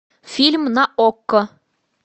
фильм на окко